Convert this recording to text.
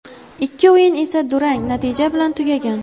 Ikki o‘yin esa durang natija bilan tugagan.